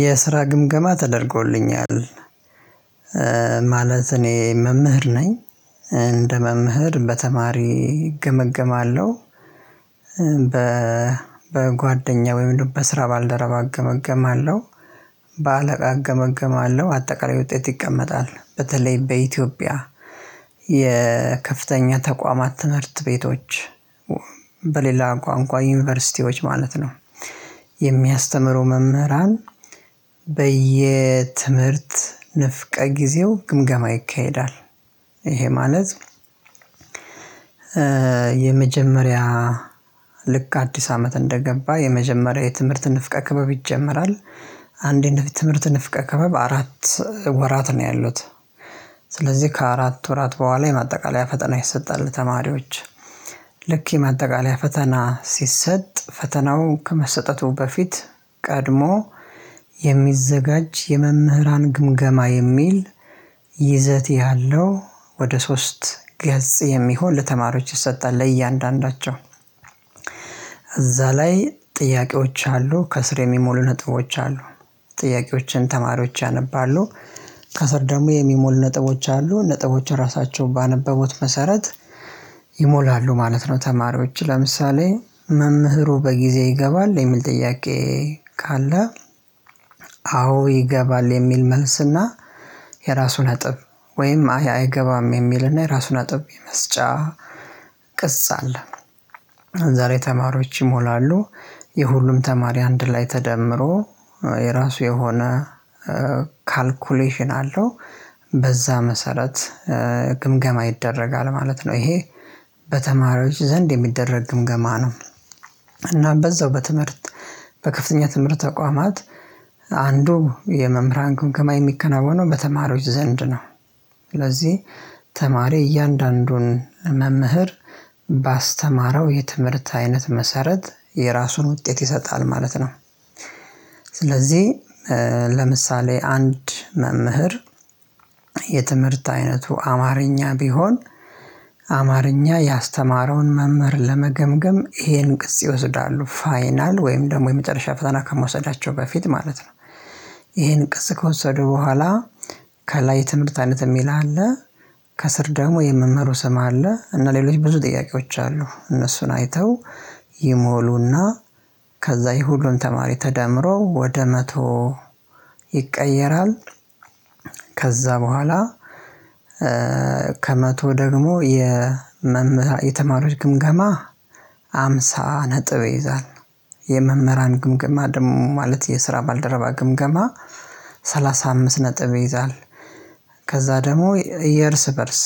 የስራ ግምገማ ተደርጎልኛል። ማለት እኔ መምህር ነኝ እንደ መምህር በተማሪ እገመገማለሁ። በ በጓደኛ ወይም በስራ ባልደረባ እገመገማለሁ። በአለቃ እገመገማለሁ አጠቃላይ ውጤት ይቀመጣል በተለይ በኢትዮጵያ የከፍተኛ ተቋማት ትምህርት ቤቶች በሌላ ቋንቋ ዩኒቨርሲቲዎች ማለት ነው። የሚያስተምሩ መምህራን በየትምህርት ንፍቀ ጊዜው ግምገማ ይካሄዳል። ይሄ ማለት የመጀመሪያ ልክ አዲስ አመት እንደገባ የመጀመሪያው የትምህርት ንፍቀ ክበብ ይጀመራል። አንድ የትምህርት ንፍቀ ክበብ አራት ወራት ነው ያሉት። ስለዚህ ከአራት ወራት በኋላ የማጠቃለያ ፈተና ይሰጣል። ተማሪዎች ልክ የማጠቃለያ ፈተና ሲሰጥ ፈተናው ከመሰጠቱ በፊት ቀድሞ የሚዘጋጅ የመምህራን ግምገማ የሚል ይዘት ያለው ወደ ሶስት ገጽ የሚሆን ለተማሪዎች ይሰጣል። ለእያንዳንዳቸው እዛ ላይ ጥያቄዎች አሉ ከስር የሚሞሉ ነጥቦች አሉ። ጥያቄዎችን ተማሪዎች ያነባሉ። ከስር ደግሞ የሚሞሉ ነጥቦች አሉ ነጥቦችን ራሳቸው ባነበበው መሰረት ይሞላሉ ማለት ነው። ተማሪዎች ለምሳሌ መምህሩ በጊዜ ይገባል የሚል ጥያቄ ካለ አዎ ይገባል የሚል መልስና የራሱ ነጥብ ወይም አይገባም የሚልና የራሱ አጥብ የመስጫ ቅጽ አለ። ዛሬ ተማሪዎች ይሞላሉ የሁሉም ተማሪ አንድ ላይ ተደምሮ የራሱ የሆነ ካልኩሌሽን አለው በዛ መሰረት ግምገማ ይደረጋል ማለት ነው። ይሄ በተማሪዎች ዘንድ የሚደረግ ግምገማ ነው። እና በዛው በትምህርት በከፍተኛ ትምህርት ተቋማት አንዱ የመምህራን ግምገማ የሚከናወነው በተማሪዎች ዘንድ ነው። ስለዚህ ተማሪ እያንዳንዱን መምህር ባስተማረው የትምህርት አይነት መሰረት የራሱን ውጤት ይሰጣል ማለት ነው። ስለዚህ ለምሳሌ አንድ መምህር የትምህርት አይነቱ አማርኛ ቢሆን አማርኛ ያስተማረውን መምህር ለመገምገም ይሄን ቅፅ ይወስዳሉ ፋይናል ወይም ደግሞ የመጨረሻ ፈተና ከመውሰዳቸው በፊት ማለት ነው። ይሄን ቅጽ ከወሰደ በኋላ ከላይ ትምህርት አይነት የሚልህ አለ። ከስር ደግሞ የመምህሩ ስም አለ እና ሌሎች ብዙ ጥያቄዎች አሉ እነሱን አይተው ይሞሉና ከዛ የሁሉም ተማሪ ተደምሮ ወደ መቶ ይቀየራል። ከዛ በኋላ ከመቶ ደግሞ የመም የተማሪዎች ግምገማ ሃምሳ ነጥብ ይይዛል። የመምህራን ግምገማ ደግሞ ማለት የስራ ባልደረባ ግምገማ ሰላሳ አምስት ነጥብ ይይዛል። ከዛ ደግሞ የእርስ በእርስ